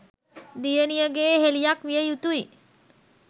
දියණියගේ යෙහෙළියක් විය යුතුයි